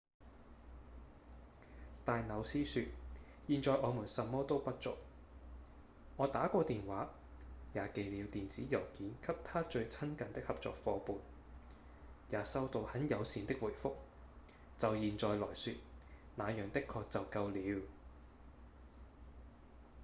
戴紐斯說：「現在我們什麼都不做我打過電話、也寄了電子郵件給他最親近的合作夥伴也收到很友善的回覆就現在來說那樣的確就夠了」